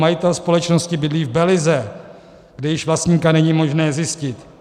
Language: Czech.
Majitel společnosti bydlí v Belize, kde již vlastníka není možné zjistit.